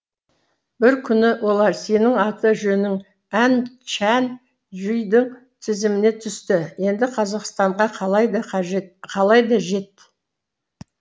бір күні олар сенің аты жөнің ән чән жүйдің тізіміне түсті енді қазақстанға қалай да қалай да жет